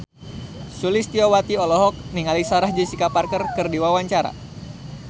Sulistyowati olohok ningali Sarah Jessica Parker keur diwawancara